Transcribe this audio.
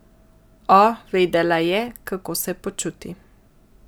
O, vedela je, kako se počuti.